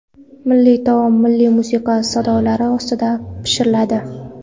Milliy taom milliy musiqa sadolari ostida pishiriladi.